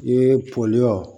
I ye pɔli